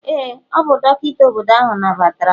ee, ọ bụ dọkịta obodo ahụ nabatara m